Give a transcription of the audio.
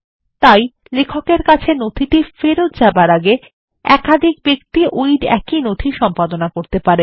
তাই লেখকের কাছে নথি ফেরত যাবার আগে একাধিক ব্যক্তি একই নথি সম্পাদনা করতে পারেন